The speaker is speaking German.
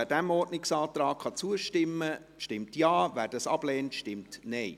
Wer diesem Ordnungsantrag zustimmen kann, stimmt Ja, wer diesen ablehnt, stimmt Nein.